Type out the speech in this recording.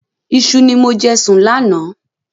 Iṣu ni mo jẹ sùn láánaà